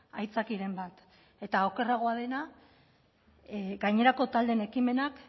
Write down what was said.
haitzakiren bat eta okerragoa dena gainerako taldeen ekimenak